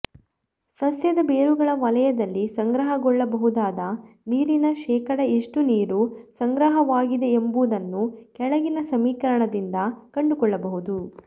ಸಸ್ಯದ ಬೇರುಗಳ ವಲಯದಲ್ಲಿ ಸಂಗ್ರಹಗೊಳ್ಳಬಹುದಾದ ನೀರಿನ ಶೇಕಡಾ ಎಷ್ಟು ನೀರು ಸಂಗ್ರಹವಾಗಿದೆಂಬುದನ್ನು ಕೆಳಗಿನ ಸಮೀಕರಣದಿಂದ ಕಂಡುಕೊಳ್ಳಬಹುದು